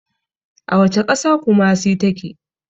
A wacce ƙasa kumasi ta ke?